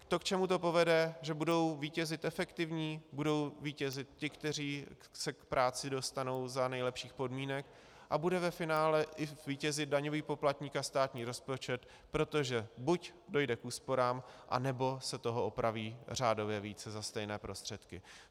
To, k čemu to povede, že budou vítězit efektivní, budou vítězit ti, kteří se k práci dostanou za nejlepších podmínek, a bude ve finále i vítězit daňový poplatník a státní rozpočet, protože buď dojde k úsporám, anebo se toho opraví řádově více za stejné prostředky.